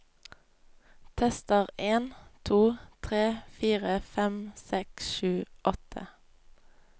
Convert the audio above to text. Tester en to tre fire fem seks sju åtte